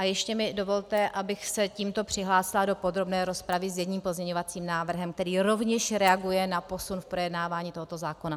A ještě mi dovolte, abych se tímto přihlásila do podrobné rozpravy s jedním pozměňovacím návrhem, který rovněž reaguje na posun v projednávání tohoto zákona.